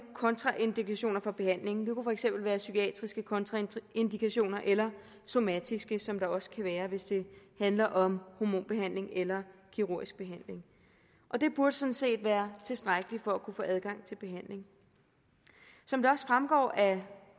kontraindikationer for behandlingen det kunne for eksempel være psykiatriske kontraindikationer eller somatiske kontraindikationer som der også kan være hvis det handler om hormonbehandling eller kirurgisk behandling det burde sådan set være tilstrækkeligt for at kunne få adgang til behandling som det også fremgår af